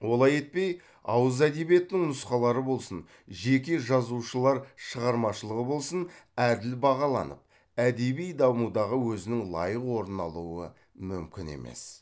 олай етпей ауыз әдебиетінің нұсқалары болсын жеке жазушылар шығармашылығы болсын әділ бағаланып әдеби дамудағы өзінің лайық орнын алуы мүмкін емес